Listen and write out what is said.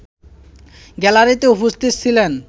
গ্যালারিতেও উপস্থিত ছিলেন